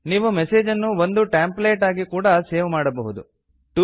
ನೀವು ಮೆಸೇಜ್ ಅನ್ನು ಒಂದು ಟೆಂಪ್ಲೇಟ್ ಆಗಿ ಕೂಡ ಸೇವ್ ಮಾಡಬಹುದು